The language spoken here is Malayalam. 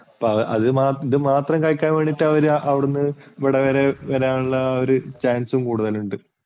ഇത് മാത്രം കഴിക്കാൻ വേണ്ടീട്ടു അവർ അവിടുന്ന് ഇവിടെ വരാനുള്ള chance ഉം കൂടുതലുണ്ട്.